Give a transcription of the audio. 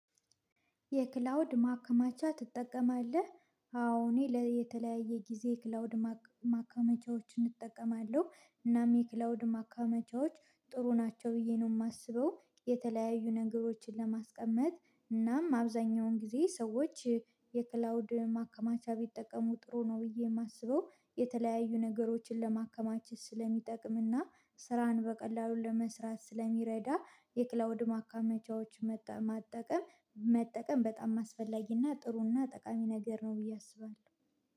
የክላውድ ማከማቻ ትጠቀማለህ አዎ እኔ ለተለያየ ጊዜ ክላውድ ማከማቻዎችን እጠቀማለሁ። እናም የክላውድ ማካመቻዎች ጥሩ ናቸው ብዬ ነው የማስበው። የተለያዩ ነገሮችን ለማስቀመጥ እናም አብዛኛውን ጊዜ ሰዎች። የክላውድ ማከማቻ ቢጠቀሙ ጥሩ ነው ብዬ የማስበው። የተለያዩ ነገሮችን ለማከማች ስለሚጠቅምና ስራን በቀላሉ ለመስራት ስለሚረዳ። የክላውድ ማካመቻዎች መጠቀም መጠቀም በጣም አስፈላጊና ጥሩና ጠቃሚ ነገር ነው ብዬ አስባለሁ